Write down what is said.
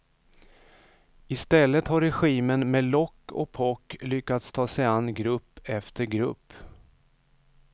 I stället har regimen med lock och pock lyckats ta sig an grupp efter grupp.